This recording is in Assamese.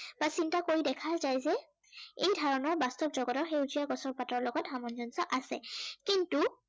তাক চিন্তা কৰি দেখা যায় যে, এই ধাৰনাৰ বাস্তৱ জগতৰ সেউজীয়া গছৰ পাতৰ লগত সামঞ্জস্য় আছে। কিন্তু